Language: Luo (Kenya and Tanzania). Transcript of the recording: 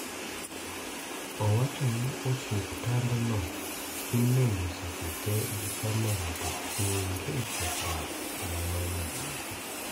Owacho ni osuptandno imenyo seche te gi kamera to onge kethruok manomenyi